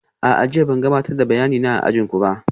A'a, jiya ban gabatar da bayanina a ajin ku ba